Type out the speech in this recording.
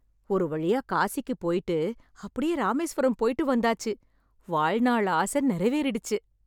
ஒருவழியா காசிக்கு போய்ட்டு அப்டியே ராமேஸ்வரம் போய்ட்டு வந்தாச்சு... வாழ்நாள் ஆச நிறைவேறிடுச்சு.